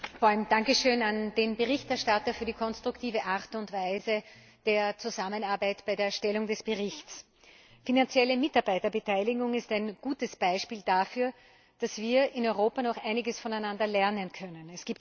Herr Präsident! Ein Dankeschön an den Berichterstatter für die konstruktive Art und Weise der Zusammenarbeit bei der Erstellung des Berichts. Finanzielle Mitarbeiterbeteiligung ist ein gutes Beispiel dafür, dass wir in Europa noch einiges voneinander lernen können.